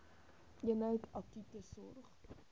eenheid akute sorg